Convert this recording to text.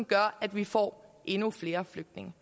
gør at vi får endnu flere flygtninge